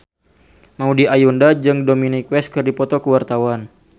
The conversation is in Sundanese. Maudy Ayunda jeung Dominic West keur dipoto ku wartawan